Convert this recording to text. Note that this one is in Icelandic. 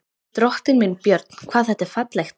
Drottinn minn, Björn, hvað þetta er fallegt!